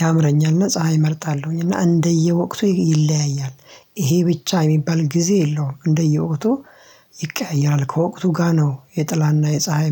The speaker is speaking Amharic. ያምረኛልና ፀሀይ እመርጣለሁኝና እንደየወቅቱ ይለያያል። ይሄ ብቻ የሚባል ጊዜ የለውም እንደየወቅቱ ይቀያየራል ከወቅቱ ጋር ነው። የጥላና የፀሀይ